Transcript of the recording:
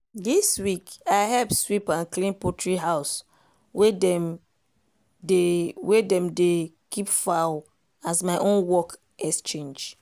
this week i help sweep and clean poultry house wey dem dey wey dem dey keep fowl as my own work exchange